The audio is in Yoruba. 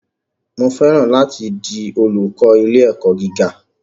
Mo fẹ́ràn láti di olúkọ̀ ilé-ẹ̀kọ́ gíga.